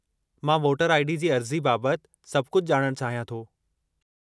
मां voter ID. जी अर्ज़ी बाबतु सभु कुझु ॼाणण चाहियां थो।